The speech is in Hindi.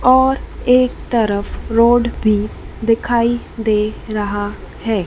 और एक तरफ रोड भी दिखाई दे रहा है।